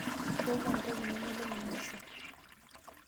Nchooki entoki namelok mainosa.